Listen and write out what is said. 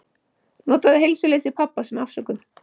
Notaði heilsuleysi pabba sem afsökun.